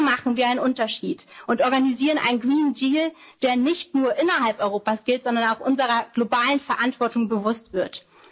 werden. So machen wir einen Unterschied und organisieren einen Green Deal, der nicht nur innerhalb Europas gilt, sondern auch unserer globalen Verantwortung